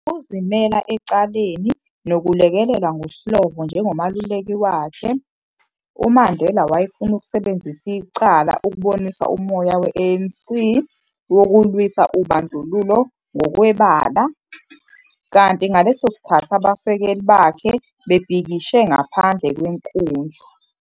Ngokuzimele ecaleni nokulekelelwa nguSlovo njengomeluleki wakhe, uMandela wayefuna ukusebenzisa icala ukubonisa umoya we-ANC wokulwisa ubandlululo ngokwebala, kanti ngaleso sikhathi abasekeli bakhe bebhikishe ngaphandle kwenkundla.